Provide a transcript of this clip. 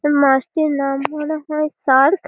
এই মাছটির নাম মনে হয় শার্ক ।